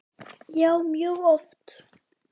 Já, mjög oft.